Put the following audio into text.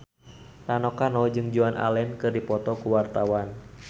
Rano Karno jeung Joan Allen keur dipoto ku wartawan